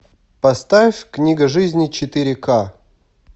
поставь книга жизни четыре ка